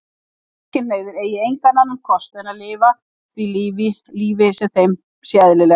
Samkynhneigðir eigi engan annan kost en að lifa því lífi sem þeim sé eðlilegt.